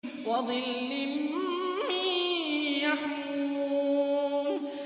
وَظِلٍّ مِّن يَحْمُومٍ